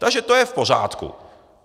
Takže to je v pořádku.